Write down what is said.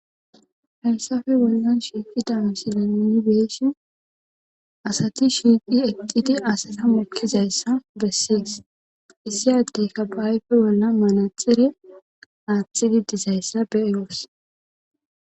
Hayssafe wolyon shiiqi damsinaiibeeshi asati shiiqi exidi asata mukkizayssa bessees issi addeka phaayfe bolla malaxire aatxidi dizayssa beeyoos